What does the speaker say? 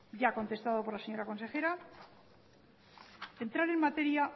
ya contestado por la señora consejera entrar en materia